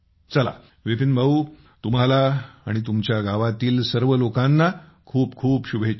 चला विपिन भाऊ तुम्हाला आणि तुमच्या गावातील सर्व लोकांना खूप खूप शुभेच्छा